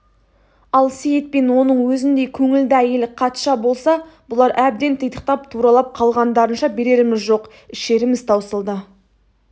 ал сейіт пен оның өзіндей көңілді әйелі қатша болса бұлар әбден титықтап тұралап қалғандарынша береріміз жоқ ішеріміз таусылды